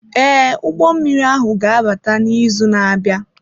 Ee, ụgbọ mmiri ahụ ga-abata n'izu na-abịa.